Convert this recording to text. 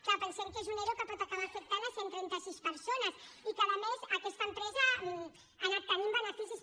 clar pensem que és un ero que pot acabar afectant cent i trenta sis persones i que a més aquesta empresa ha anat tenint beneficis